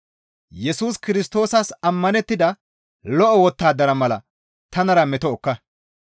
Yesus Kirstoosas ammanettida lo7o wottadara mala tanara meto ekka.